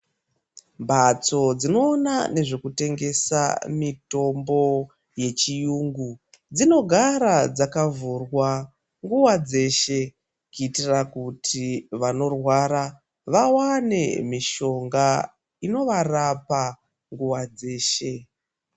Mbatso dzinoona nezvekutengesa mutombo yechiyungu dzinogara dzakavhurwa nguwa dzeshe kuitira kuti vanorwara vawane mishonga inovarapa nguwa dzeshe.